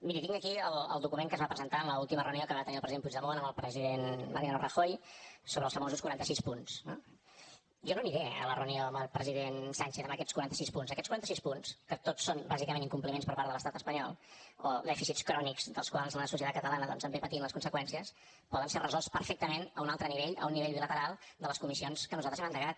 miri tinc aquí el document que es va presentar en l’última reunió que va tenir el president puigdemont amb el president mariano rajoy sobre els famosos quaranta sis punts no jo no aniré a la reunió amb el president sánchez amb aquests quaranta sis punts aquests quaranta sis punts que tots són bàsicament incompliments per part de l’estat espanyol o dèficits crònics dels quals la societat catalana doncs en ve patint les conseqüències poden ser resolts perfectament a un altre nivell a un nivell bilateral de les comissions que nosaltres hem endegat